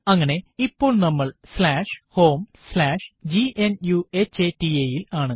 അങ്ങനെ ഇപ്പോൾ നമ്മൾ homegnuhata ൽ ആണ്